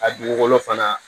A dugukolo fana